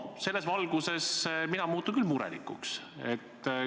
Selles valguses muutun mina küll murelikuks.